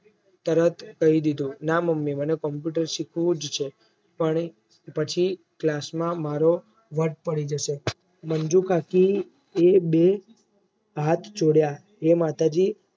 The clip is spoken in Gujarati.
તરત કહી દીધું ના મમ્મી મને Computer શીખવું જ છે આ પછી class માં મારો વટ પડી જશે મંજુ કાકી એ બે હાથ જોડ્યા હે માતાજી